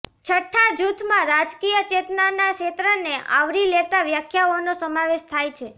છઠ્ઠા જૂથમાં રાજકીય ચેતનાના ક્ષેત્રને આવરી લેતા વ્યાખ્યાઓનો સમાવેશ થાય છે